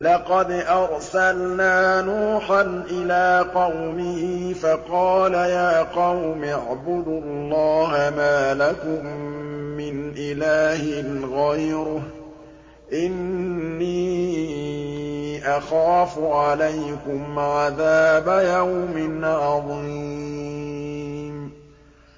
لَقَدْ أَرْسَلْنَا نُوحًا إِلَىٰ قَوْمِهِ فَقَالَ يَا قَوْمِ اعْبُدُوا اللَّهَ مَا لَكُم مِّنْ إِلَٰهٍ غَيْرُهُ إِنِّي أَخَافُ عَلَيْكُمْ عَذَابَ يَوْمٍ عَظِيمٍ